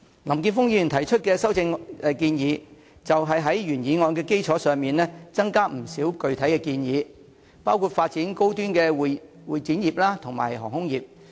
林健鋒議員提出的修正案，是在原議案的基礎上增加不少具體建議，包括發展高端的會展業和航空業。